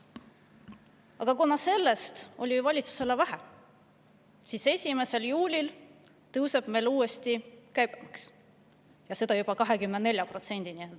Aga kuna sellest oli valitsusele veel vähe, siis 1. juulil tõuseb meil uuesti käibemaks ja juba 24%‑ni.